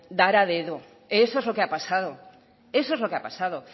dar a dedo eso es lo que ha pasado eso es lo que ha pasado